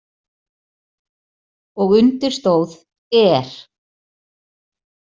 Og undir stóð ER.